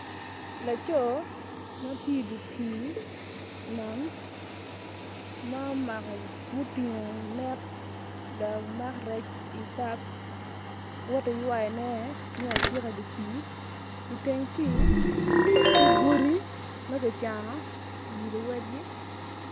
Laco ma ti i di pii nam ma umako mutingu net lamak rec ibap woti ywayone mi acika i di pii iteng pii tye godi ma gicano i wi luwegi